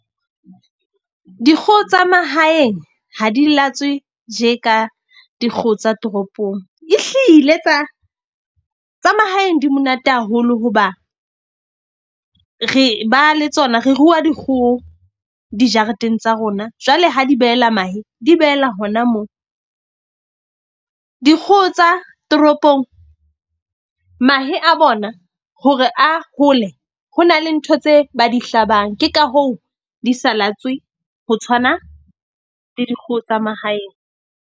Dikgoho tsa mahaeng ha di latswe tje ka dikgoho tsa toropong, e hlile tsa mahaeng di monate haholo hoba re ba le tsona re rua dikgoho dijareteng tsa rona. Jwale ha di behela mahe, di behela hona moo. Dikgoho tsa toropong mahe a bona hore a hole, ho na le ntho tse ba di hlabang, ke ka hoo di sa latswe ho tshwana le dikgoho tsa mahaeng.